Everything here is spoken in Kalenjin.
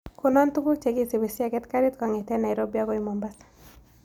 Konon tuguk chegisipii siaget garit kong'eten nairobi agoi mombasa